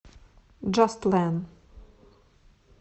джастлэн